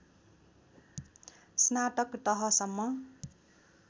स्नातक तहसम्म